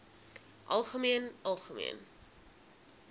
algemeen algemeen